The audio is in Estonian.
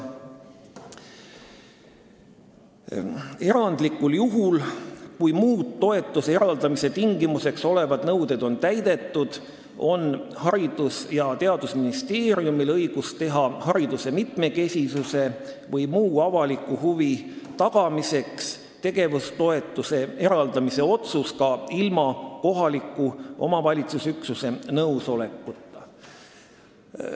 Erandlikul juhul, kui muud toetuse eraldamise tingimuseks olevad nõuded on täidetud, on Haridus- ja Teadusministeeriumil õigus teha hariduse mitmekesisuse või muu avaliku huvi tagamiseks tegevustoetuse eraldamise otsus ka ilma kohaliku omavalitsuse üksuse nõusolekuta.